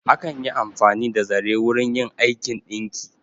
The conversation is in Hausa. Akan yi amfani da zare wurin yin aikin ɗinki.